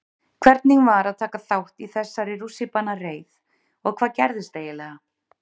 Hvernig var að taka þátt í þessari rússíbanareið og hvað gerðist eiginlega?